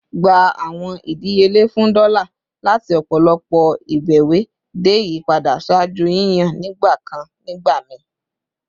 Gba awọn idiyele fun dola lati ọpọlọpọ ibẹwẹ de iyipada ṣaaju yiyan nigbakan nigbamii!